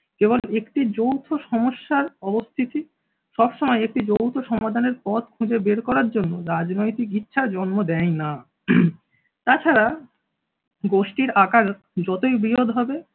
কেবল একটি যৌথ সমস্যার অবস্থিতি সবসময় একটি যৌথ সমাধানের পথ খুঁজে বের করার জন্য রাজনৈতিক ইচ্ছার জন্ম দেয় না। তাছাড়া গোষ্ঠীর আকার যতই বৃহৎ হবে